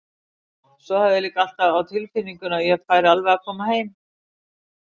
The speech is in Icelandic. Svo hafði ég líka alltaf á tilfinningunni að ég færi alveg að koma heim.